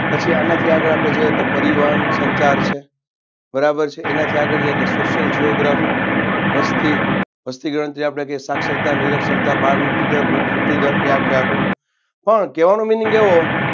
પછી આનાથી આગળ આપણે જઈએ તો પરિવહન સંચાર છે બરાબર છે એનાથી આગળ જઈએ એટલે social geography વસ્તી વસ્તી ગણતરી આવે એટલે આપણે કહીએ સાક્ષરતા નિરક્ષરતા બાળમૃત્યુદર વૃદ્ધ મૃત્યુદર એ આખેઆખું પણ કેવાનો meaning એવો